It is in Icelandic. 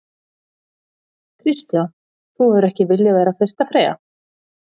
Kristján: Þú hefur ekki viljað vera fyrsta freyja?